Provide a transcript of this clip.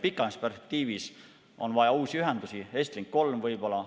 Pikemas perspektiivis on vaja uusi ühendusi, Estlink 3 võib-olla.